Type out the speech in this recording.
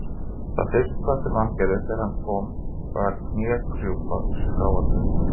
Það fyrsta sem hann gerði þegar þangað kom var að knékrjúpa skráargatinu.